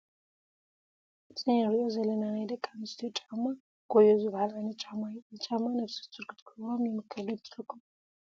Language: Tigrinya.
እዚ ንሪኦ ዘለና ናይ ደቂ ኣንስትዮ ጫማ ኾዮ ዝበሃል ዓይነት ጫማ እዩ፡፡ እዚ ጫማ ነፍሰ ፁር ክትገብሮ ይምከር ዶ ይመስለኩም?